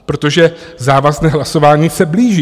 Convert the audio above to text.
Protože závazné hlasování se blíží.